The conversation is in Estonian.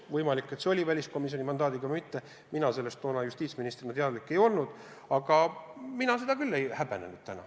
Võimalik, et selleks oli olemas väliskomisjoni mandaat, mina sellest toona justiitsministrina teadlik ei olnud, aga mina seda küll täna ei häbenenud.